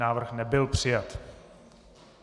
Návrh nebyl přijat.